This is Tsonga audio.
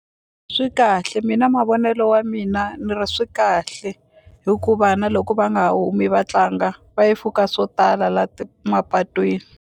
Swi kahle mina mavonelo ya mina ni ri swi kahle hikuva na loko va nga humi va tlanga va yi swo tala la mapatwini.